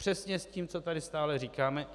Přesně s tím, co tady neustále říkáme.